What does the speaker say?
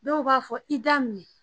Dɔw b'a fɔ i da minɛ